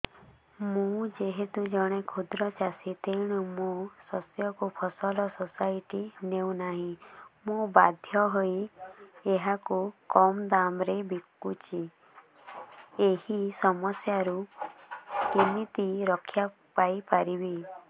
ମୁଁ ଯେହେତୁ ଜଣେ କ୍ଷୁଦ୍ର ଚାଷୀ ତେଣୁ ମୋ ଶସ୍ୟକୁ ଫସଲ ସୋସାଇଟି ନେଉ ନାହିଁ ମୁ ବାଧ୍ୟ ହୋଇ ଏହାକୁ କମ୍ ଦାମ୍ ରେ ବିକୁଛି ଏହି ସମସ୍ୟାରୁ କେମିତି ରକ୍ଷାପାଇ ପାରିବି